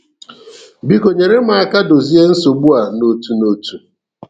Biko nyere m aka dozie nsogbu a n'otu n'otu!